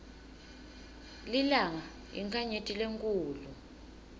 lilanga yinkhanyeti lenkhulu